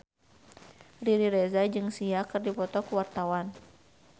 Riri Reza jeung Sia keur dipoto ku wartawan